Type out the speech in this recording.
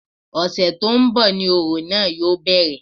Ọ̀sẹ̀ tó ń bọ̀ ni ni òrò náà yóò bẹ̀rẹ̀